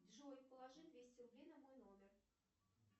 джой положи двести рублей на мой номер